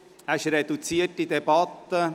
Wir führen eine reduzierte Debatte.